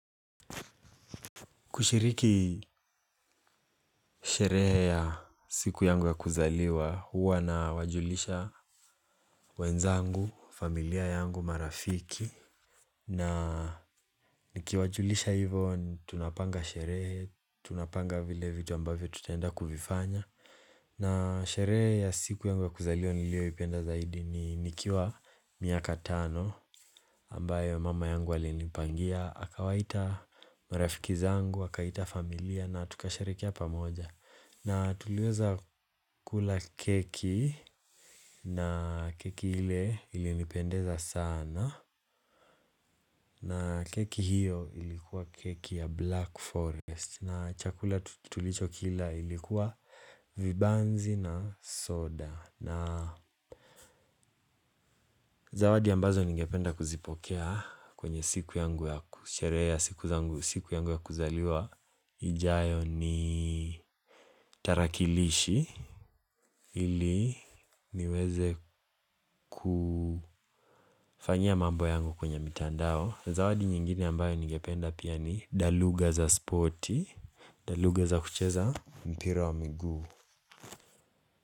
Kushiriki sherehe ya siku yangu ya kuzaliwa, huwa nawajulisha wenzangu, familia yangu, marafiki. Na nikiwajulisha hivyo, tunapanga sherehe, tunapanga vile vitu ambavyo tutaenda kuvifanya. Na sherehe ya siku yangu ya kuzaliwa nilioipenda zaidi ni nikiwa miaka tano. Ambayo mama yangu alinipangia, akawaita marafiki zangu, akaita familia na tukasherekea pamoja. Na tuliweza kula keki na keki ile ilinipendeza sana. Na keki hiyo ilikuwa keki ya black forest. Na chakula tutulichokila ilikuwa vibanzi na soda. Na zawadi ambazo ningependa kuzipokea kwenye siku yangu ya ku sherehe ya siku yangu ya kuzaliwa ijayo ni tarakilishi ili niweze kufanyia mambo yangu kwenye mitandao. Zawadi nyingine ambayo ningependa pia ni daluga za sporti. Daluga za kucheza mpira wa miguu.